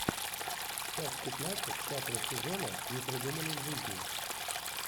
часть пятнадцать пятого сезона непридуманной жизни